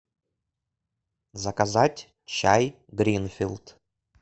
заказать чай гринфилд